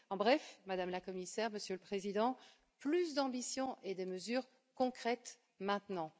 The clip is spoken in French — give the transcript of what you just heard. En bref, Madame la Commissaire, Monsieur le Président, plus d'ambition et des mesures concrètes, maintenant.